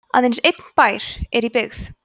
aðeins einn bær er í byggð